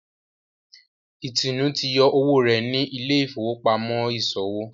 Itunu tí yọ owó rẹ ní Ile-ifowopamọ iṣowo.